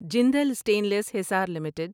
Jindal stainless Hisar limited